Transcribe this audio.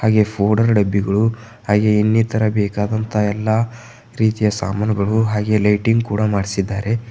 ಹಾಗೆ ಫೋಡರ್ ಡಬ್ಬಿಗಳು ಹಾಗೆ ಇನ್ನಿತರ ಬೇಕಾದಂತಹ ಎಲ್ಲಾ ರೀತಿಯ ಸಾಮಾನುಗಳು ಹಾಗೆ ಲೈಟಿಂಗ್ ಕೂಡ ಮಾಡ್ಸಿದ್ದಾರೆ